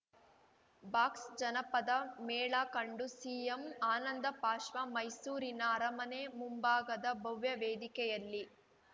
box ಜಾನಪದ ಮೇಳ ಕಂಡು ಸಿಎಂ ಆನಂದಬಾಷ್ಪ ಮೈಸೂರಿನ ಅರಮನೆ ಮುಂಭಾಗದ ಭವ್ಯ ವೇದಿಕೆಯಲ್ಲಿ